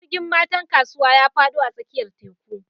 Jirgin matan kasuwa ya fado a tsakiyar teku